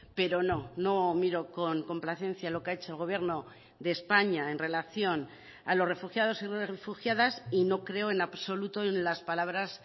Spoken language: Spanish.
pero no no miro con complacencia lo que ha hecho el gobierno de españa en relación a los refugiados y refugiadas y no creo en absoluto en las palabras